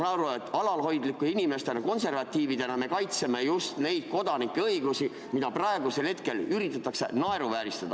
Ma saan aru, et alalhoidlike inimestena, konservatiividena, me kaitseme just neid kodanikuõigusi, mida praegu üritatakse naeruvääristada.